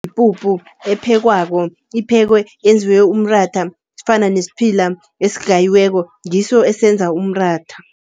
Yipuphu ephekwako, iphekwe yenziwe umratha ifana nesiphila esigayiweko ngiso esenza umratha.